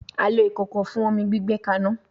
A lo ikoko fun omi gbigbe kana